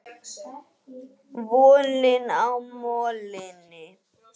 Völin á mölinni